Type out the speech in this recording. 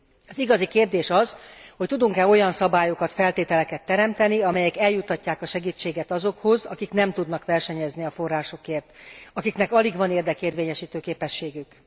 Az igazi kérdés az, hogy tudunk e olyan szabályokat, feltételeket teremteni, amelyek eljuttatják a segítséget azokhoz, akik nem tudnak versenyezni a forrásokért, akiknek alig van érdekérvényesítő képességük.